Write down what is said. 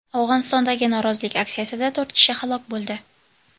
Afg‘onistondagi norozilik aksiyasida to‘rt kishi halok bo‘ldi.